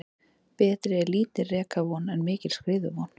Betri er lítil rekavon en mikil skriðuvon.